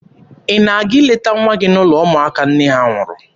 Ị na-aga ileta nwa gị n'ụlọ ụmụaka nne ha nwụrụ?